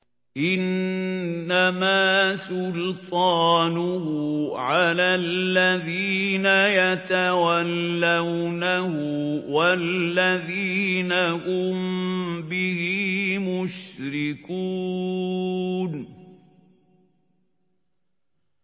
إِنَّمَا سُلْطَانُهُ عَلَى الَّذِينَ يَتَوَلَّوْنَهُ وَالَّذِينَ هُم بِهِ مُشْرِكُونَ